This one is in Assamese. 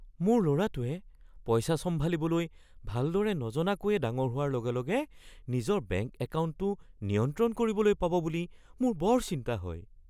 মোৰ ল’ৰাটোৱে পইচা চম্ভালিবলৈ ভালদৰে নজনাকৈয়ে ডাঙৰ হোৱাৰ লগেলগে নিজৰ বেংক একাউণ্টটো নিয়ন্ত্ৰণ কৰিবলৈ পাব বুলি মোৰ বৰ চিন্তা হয়।